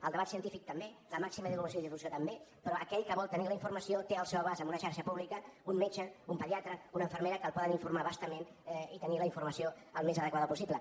el debat científic també la màxima divulgació i difusió també però aquell que vol tenir la informació té al seu abast en una xarxa pública un metge un pediatre una infermera que el poden informar a bastament i tenir la informació el més adequada possible